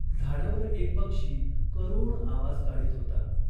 झाडावर एक पक्षी करुण आवाज काढीत होता.